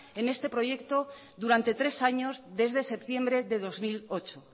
en este proyecto durante tres años desde septiembre de dos mil ocho